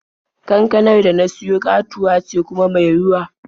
Kankanar da na siya ƙatuwa ce kuma mai ruwa.